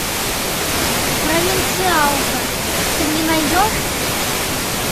провинциалка ты мне найдешь